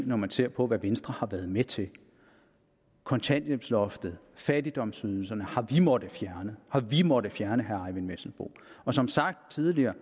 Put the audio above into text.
når man ser på hvad venstre har været med til kontanthjælpsloftet fattigdomsydelserne har vi måttet fjerne har vi måttet fjerne herre eyvind vesselbo og som sagt tidligere